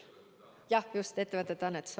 Jah, just: ettevõtete annetused.